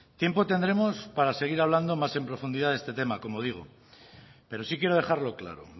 tiempo tendremos para seguir hablando más en profundidad de este tema como digo pero sí quiero dejarlo claro